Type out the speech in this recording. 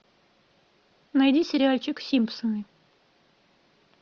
найди сериальчик симпсоны